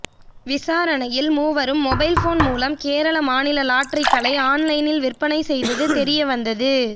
விசாரணையில் மூவரும் mobile phone மூலம் கேரள மாநில லாட்டரிகளை ஆன்லைனில் விற்பணை செய்தது தெரியவந்தது